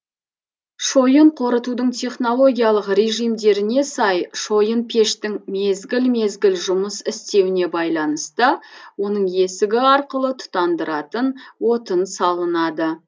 шойын қорытудың технологиялық режимдеріне сай шойынпештің мезгіл мезгіл жұмыс істеуіне байланысты оның есігі арқылы тұтандыратын отын салынады